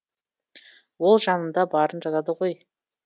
ол жанында барын жазады ғой